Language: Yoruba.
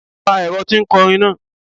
Pa ẹ̀rọ ti ń kọrin náà!